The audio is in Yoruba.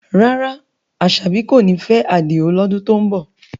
Rárá, Asabi kò ní fẹ́ Adio lọ́dún tó ń bọ̀.